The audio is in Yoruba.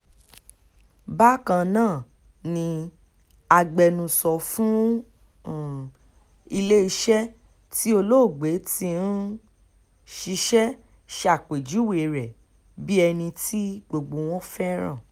bákan náà ni agbẹnusọ fún um iléeṣẹ́ tí olóògbé ti um ń ṣiṣẹ́ ṣàpèjúwe rẹ̀ bíi ẹni tí gbogbo wọn fẹ́ràn